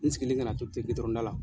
N sigilen kana to ten gitɔrɔnda la.